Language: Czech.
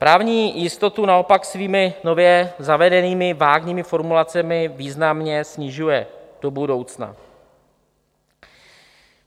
Právní jistotu naopak svými nově zavedenými vágními formulacemi významně snižuje do budoucna.